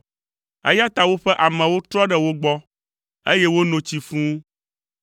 Eya ta woƒe amewo trɔ ɖe wo gbɔ, eye wono tsi fũu.